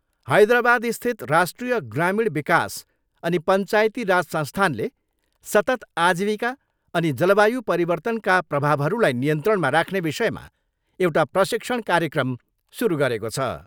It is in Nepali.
हैदराबादस्थित राष्ट्रीय ग्रामीण विकास अनि पञ्चायती राज संस्थानले सतत् आजीविका अनि जलवायु परिवर्तनका प्रभावहरूलाई नियन्त्रणमा राख्ने विषयमा एउटा प्रशिक्षण कार्यक्रम सुरु गरेको छ।